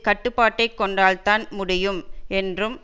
கட்டுப்பாட்டை கொண்டால் தான் முடியும் என்றும்